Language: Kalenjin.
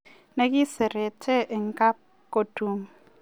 Nengiserete en kabkotun.